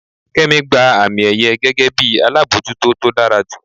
kemi gba ami-èyẹ́ gege bi alabọjuto to dara ju.